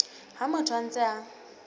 ha motho a ntse a